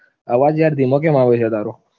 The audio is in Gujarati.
અવાજ યાર ધીમો કેમ આવે છે તારો?